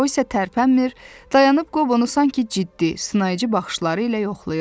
O isə tərpənmir, dayanıb Qobonu sanki ciddi, sınayıcı baxışları ilə yoxlayırdı.